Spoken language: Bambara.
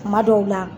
Kuma dɔw la